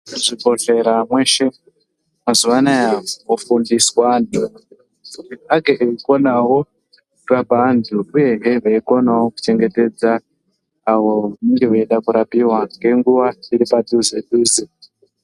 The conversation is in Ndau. Muzvibhedhlera mweshe mazuvaanaya kwofundiswa antu kuti vange veikonawo kurape vantu uyezve veikonawo kuchengetedze avo vanenge veida kurapiwa ngenguva iripadhuze dhuze.